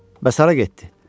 Bəs hara getdi?